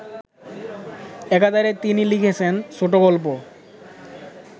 একাধারে তিনি লিখেছেন ছোটগল্প